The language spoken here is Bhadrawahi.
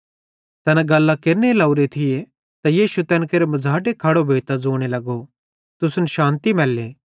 तैना गल्लां केरने लोरे थिये त यीशु तैन केरे मझ़ाटे खड़ो भोइतां ज़ोने लगो तुसन शान्ति मैल्ले